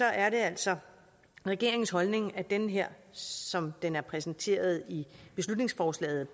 er det altså regeringens holdning at den her som den er præsenteret i beslutningsforslaget